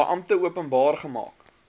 beampte openbaar gemaak